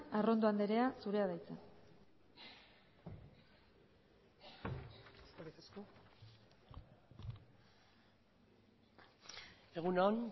arrondo anderea zurea da hitza egun on